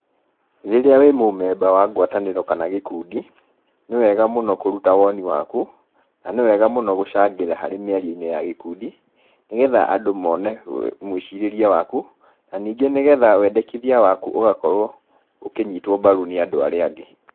Rĩrĩa wĩ mũmemba wa ngwatanĩro kana gĩkundi, nĩwega mũno kuruta woni waku, na nĩ wega mũno gũcangĩra harĩ mĩario-inĩ ya gĩkundi, nĩ getha andũ mone mwĩcirĩrie waku, na ningĩ nĩgetha wendekithia waku ũgakorwo ũkĩnyitwo mbaru nĩ andũ aria angĩ